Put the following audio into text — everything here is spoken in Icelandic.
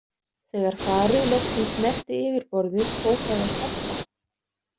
Þegar farið loksins snerti yfirborðið fór það að skoppa.